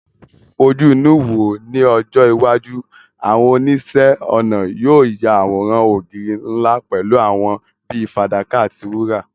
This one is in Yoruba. Fojú inú wò ó, ní ọjọ́ iwájú, àwọn oníṣẹ́-ọnà yóò ya àwòrán ògiri ńlá pẹ̀lú àwọ̀ bíi fàdákà àti wúrà.